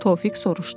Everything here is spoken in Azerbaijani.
Tofiq soruşdu.